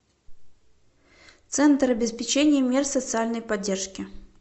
центр обеспечения мер социальной поддержки